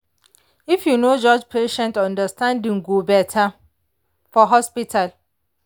if you no judge patient understanding go better for hospital.